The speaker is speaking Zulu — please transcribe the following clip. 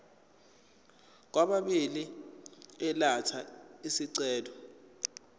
kwababili elatha isicelo